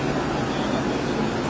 Oldu, oldu.